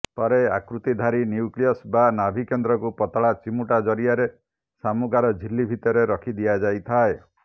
ପରେ ଆକୃତିଧାରୀ ନ୍ୟୁକ୍ଲିୟସ୍ ବା ନାଭିକେନ୍ଦ୍ରକୁ ପତଳା ଚିମୁଟା ଜରିଆରେ ଶାମୁକାର ଝିଲ୍ଲୀ ଭିତରେ ରଖି ଦିଆଯାଇଥାଏ